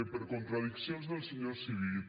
per contradiccions del senyor civit